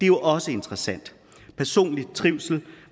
jo også interessant personlig trivsel